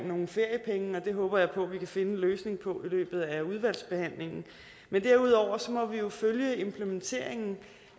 nogle feriepenge og det håber jeg vi kan finde en løsning på i løbet af udvalgsbehandlingen men derudover må vi jo følge implementeringen